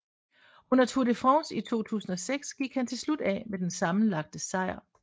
Under Tour de France i 2006 gik han til slut af med den sammenlagte sejr